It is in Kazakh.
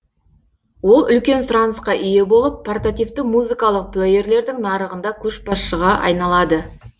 ол үлкен сұранысқа ие болып портативті музыкалық плейерлердің нарығында көшбасшыға айналады